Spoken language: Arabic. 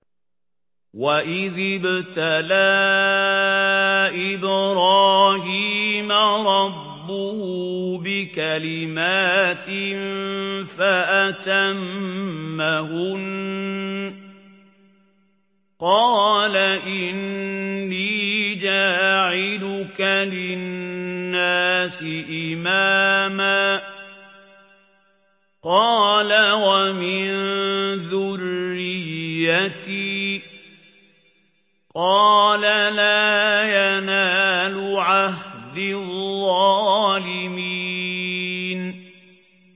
۞ وَإِذِ ابْتَلَىٰ إِبْرَاهِيمَ رَبُّهُ بِكَلِمَاتٍ فَأَتَمَّهُنَّ ۖ قَالَ إِنِّي جَاعِلُكَ لِلنَّاسِ إِمَامًا ۖ قَالَ وَمِن ذُرِّيَّتِي ۖ قَالَ لَا يَنَالُ عَهْدِي الظَّالِمِينَ